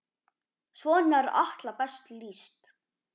Svona er Atla best lýst.